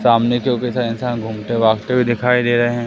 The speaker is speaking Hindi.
सामने क्योंकि सारे इंसान घूमते भागते हुए दिखाई दे रहे हैं।